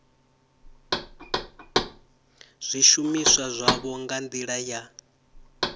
zwishumiswa zwavho nga ndila ya